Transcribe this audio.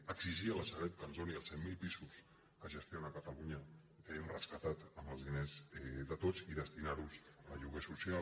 exigir a la sareb que ens doni els cent mil pisos que gestiona a catalunya que hem rescatat amb els diners de tots i destinarlos a lloguer social